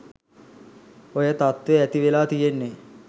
ඔය තත්ත්වේ ඇති වෙලා තියෙන්නේ.